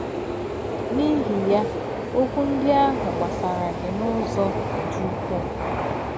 N’ìhì̄ yā, òkwù̄ ndí̄ àhụ̄ gbasárà̄ gị̄ n’ụ́zọ̀ dí̄ úkwú̄.